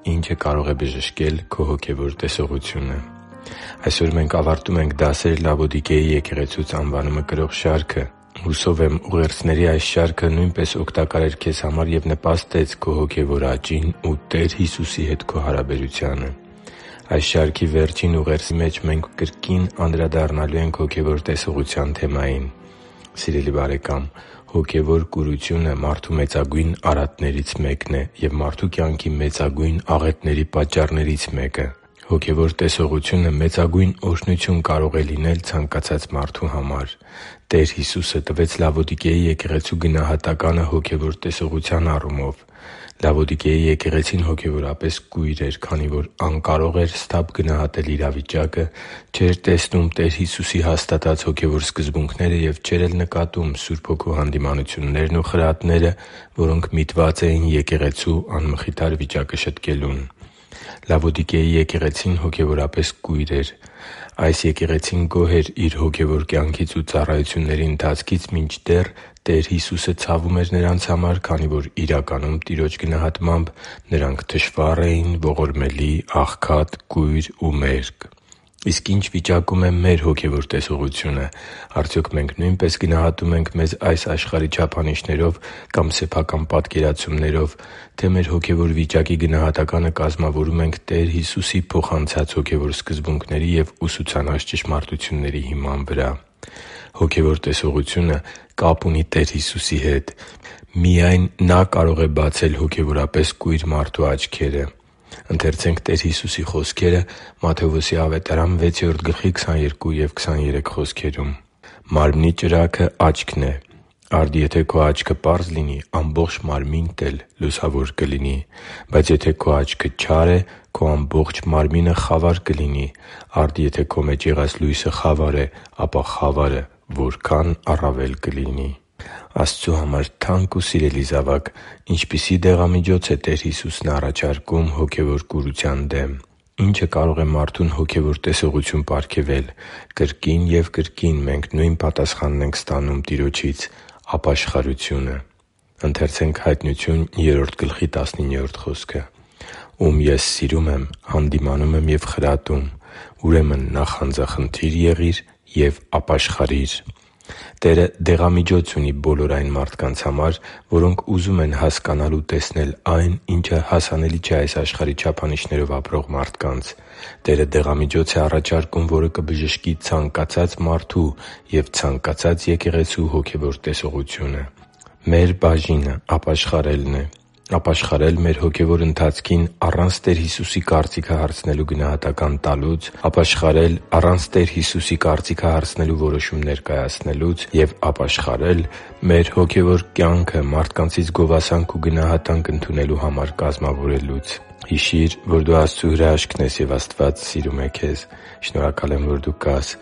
Ի՞նչը կարող է բժշկել քո հոգևոր տեսողությունը Մենք ավարտում ենք «Դասեր Լավոդիկեի եկեղեցուց»անվանումը կրող շարքը։ Հուսով եմ՝ ուղերձների այս շարքը նույնպես օգտակար էր քեզ համար և նպաստեց քո հոգևոր աճին ու Տեր Հիսուսի հետ քո հարաբերությանը։ Այս շարքի վերջին ուղերձի մեջ մենք կրկին անդրադառնալու ենք հոգևոր տեսողության թեմային։ Սիրելի՛ բարեկամ, հոգևոր կուրությունը մարդու մեծագույն արատներից մեկն է և մարդու կյանքի մեծագույն աղետների պատճառներից մեկը։ Հոգևոր տեսողությունը մեծագույն օրհնություն կարող է լինել ցանկացած մարդու համար։ Տեր Հիսուսը տվեց Լավոդիկեի եկեղեցու գնահատականը հոգևոր տեսողության առումով։ Լավոդիկեի եկեղեցին հոգևորապես կույր էր, քանի որ անկարող էր սթափ գնահատել իրավիճակը, չէր տեսնում Տեր Հիսուսի հաստատած հոգևոր սկզբունքները և չէր էլ նկատում Սուրբ Հոգու հանդիմանություններն ու խրատները, որոնք միտված էին եկեղեցու անմխիթար վիճակը շտկելուն։ Լավոդիկեի եկեղեցին հոգևորապես կույր էր։ Այս եկեղեցին գոհ էր իր հոգևոր կյանքից ու ծառայությունների ընթացքից, մինչդեռ Տեր Հիսուսը ցավում էր նրանց համար, քանի որ, իրականում, Տիրոջ գնահատմամբ՝ նրանք թշվառ էին, ողորմելի, աղքատ, կույր ու մերկ․․․ Իսկ ի՞նչ վիճակում է մեր հոգևոր տեսողությունը։ Արդյոք մենք նո՞ւյնպես գնահատում ենք մեզ այս աշխարհի չափանիշներով կամ մեր սեփական պատկերացումներով, թե՞ մեր հոգևոր վիճակի գնահատականը կազմավորում ենք Տեր Հիսուսի փոխանցած հոգևոր սկզբունքների և ուսուցանած ճշմարտությունների հիման վրա։ Հոգևոր տեսողությունը կապ ունի Տեր Հիսուսի հետ։ Միայն Նա կարող է բացել հոգևորապես կույր մարդու աչքերը։ «Մարմնի ճրագն աչքն է. արդ, եթե քո աչքը պարզ լինի, ամբողջ մարմինդ էլ լուսավոր կլինի։ Բայց եթե քո աչքը չար է, քո ամբողջ մարմինը խավար կլինի։ Արդ, եթե քո մեջ եղած լույսը խավար է, ապա խավարը որքա՜ն առավել կլինի» (Մատթեոս 6.22-23): Աստծու համար թանկ ու սիրելի՛ զավակ, ինչպիսի՞ դեղամիջոց է Տեր Հիսուսը առաջարկում հոգևոր կուրություն դեմ։ Ի՞նչը կարող է մարդուն հոգևոր տեսողություն պարգևել։ Կրկին և կրկին մենք նույն պատասխանն ենք ստանում Տիրոջից՝ ապաշխարությունը։ «Ում Ես սիրում եմ, հանդիմանում եմ և խրատում։ Ուրեմն նախանձախնդի՛ր եղիր և ապաշխարի՛ր» (Հայտնություն 3․19): Տերը դեղամիջոց ունի բոլոր այն մարդկանց համար, որոնք ուզում են հասկանալ ու տեսնել այն, ինչը հասանելի չէ այս աշխարհի չափանիշներով ապրող մարդկանց։ Տերը դեղամիջոց է առաջարկում, որը կբժշկի ցանկացած մարդու և ցանկացած եկեղեցու հոգևոր տեսողությունը։ Մեր բաժինը ապաշխարելն է՝ ապաշխարել մեր հոգևոր ընթացքին առանց Տեր Հիսուսի կարծիքը հարցնելու գնահատական տալուց։ Ապաշխարել առանց Տեր Հիսուսի կարծիքը հարցնելու որոշումներ կայացնելուց։ Եվ ապաշխարել մեր հոգևոր կյանքը մարդկանցից գովասանք ու գնահատանք ընդունելու համար կազմավորելուց։ Հիշի՛ր, որ դու Աստծո հրաշքն ես, և Աստված սիրում է քեզ։ Շնորհակալ եմ, որ դու կա՛ս